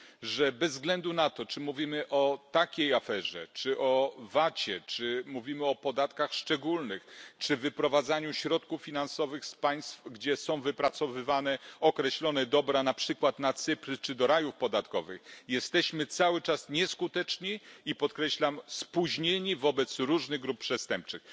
Że bez względu na to, czy mówimy o takiej aferze czy o Vacie czy mówimy o podatkach szczególnych czy wyprowadzaniu środków finansowych z państw, gdzie są wypracowywane określone dobra, na przykład na Cypr czy do rajów podatkowych, jesteśmy cały czas nieskuteczni i podkreślam spóźnieni wobec różnych grup przestępczych.